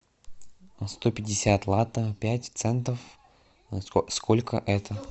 сто пятьдесят лата пять центов сколько это